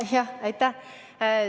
Jah, aitäh!